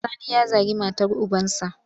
Sani ya zagi matar ubansa.